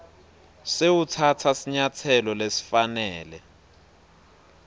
sewutsatsa sinyatselo lesifanele